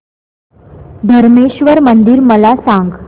धरमेश्वर मंदिर मला सांग